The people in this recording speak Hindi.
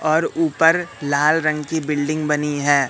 और ऊपर लाल रंग की बिल्डिंग बनी है।